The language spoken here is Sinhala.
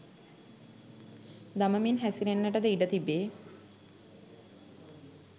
දමමින් හැසිරෙන්නට ද ඉඩ තිබේ.